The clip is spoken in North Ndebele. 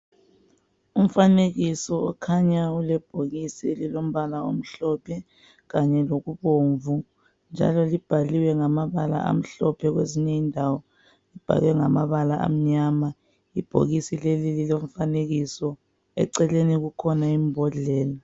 Kumfanekiso okhanya ulebhokisi elilombala omhlophe kanye lokubomvu, njalo libhaliwe ngamabala amhlophe kwezinye indawo libhaliwe ngamabala amnyama. Ibhokisi leli lilomfanekiso, eceleni kukhona imbhodlela.